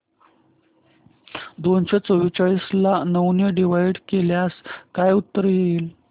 दोनशे चौवेचाळीस ला नऊ ने डिवाईड केल्यास काय उत्तर येईल